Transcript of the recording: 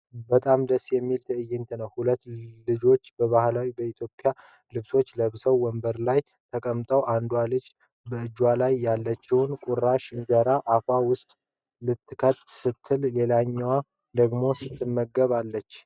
በጣም ደስ የሚል ትዕይንት ነው! ሁለት ልጆች ባህላዊ የኢትዮጵያ ልብሶችን ለብሰው ወንበር ላይ ተቀምጠዋል። አንዷ ልጅ በእጆቿ ላይ ያለችውን ቁራሽ እንጀራ አፏ ውስጥ ልትከት ስትል ሌላኛዋ ደግሞ ስትመግብ አለች።